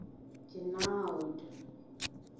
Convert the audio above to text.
genoud